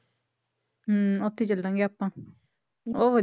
ਹਮ ਉੱਥੇ ਚੱਲਾਂਗੇ ਆਪਾਂ ਉਹ